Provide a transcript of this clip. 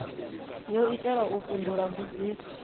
yo itelwa u fhindula mbudziso